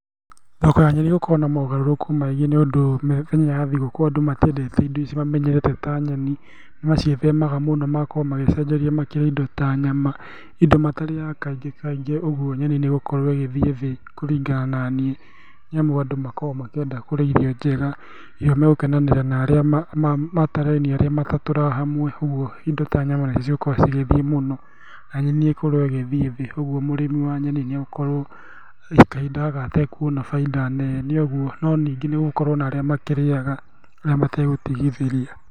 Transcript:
Thoko ya nyeni ĩgũkorwo na mogarũrũku maingĩ nĩũndũ mĩthenya ya thigũkũ andũ matiendete indo ici mamenyerete indo ici ta nyeni nĩmaciĩthemaga mũno magakorwo magĩcenjeria magakorwo makĩrĩa indo ta nyama, indo matarĩyaga kaingĩ kaingĩ koguo nyeni nĩigũkorwo igĩthiĩ thĩ kũringana na niĩ. Nĩamu andũ nĩmakoragwo makĩenda kũrĩa irio njega, irio magũkenanĩra na arĩa matatũrainie arĩa matatũraga hamwe ũguo indo ta nyama nĩcio ikoragwo igĩthiĩ mũno, na nyeni ikorwo igĩthiĩ thĩ ũguo mũrĩmi wa nyeni nĩagũkorwo kahinda gaka agĩikara atakuona baida nene ũguo, no ningĩ nĩgũgũkorwo na arĩa makirĩyaga na matagũtigithĩria.